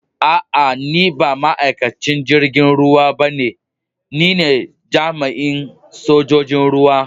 Aa, ni ba ma'aikacin jirigin ruwa ba ne, ni ne jami'in sojoji'n ruwa.